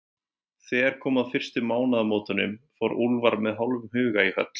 Þegar kom að fyrstu mánaðamótunum, fór Úlfar með hálfum huga í höll